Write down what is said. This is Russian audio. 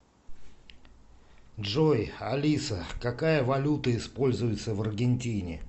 джой алиса какая валюта используется в аргентине